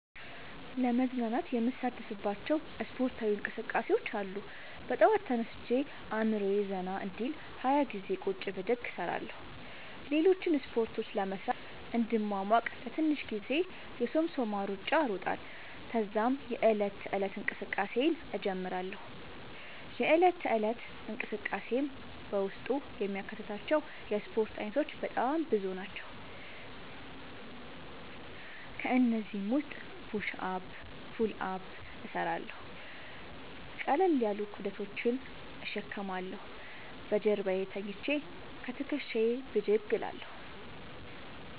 ለመዝናናት የምሣተፍባቸዉ እስፖርታዊ እንቅስቃሤዎች አሉ። በጠዋት ተነስቼ አእምሮየ ዘና እንዲል 20ገዜ ቁጭ ብድግ እሰራለሁ። ሌሎችን እስፖርቶች ለመሥራት እንድሟሟቅ ለትንሽ ጊዜ የሶምሶማ እሩጫ እሮጣለሁ። ተዛም የዕለት ተለት እንቅስቃሴየን እጀምራለሁ። የእለት ተለት እንቅስቃሴየም በውስጡ የሚያካትታቸዉ የእስፖርት አይነቶች በጣም ብዙ ናቸዉ። ከእነዚህም ዉስጥ ፑሽ አፕ ፑል አፕ እሠራለሁ። ቀለል ያሉ ክብደቶችን እሸከማለሁ። በጀርባየ ተኝቸ ከትክሻየ ብድግ እላለሁ።